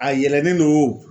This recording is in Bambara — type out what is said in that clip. A yɛlɛnnen don o